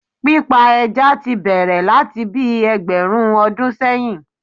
Pípa ẹja ti bẹ̀rẹ̀ láti bíi ẹgbẹ̀rún ọdún sẹ́yìn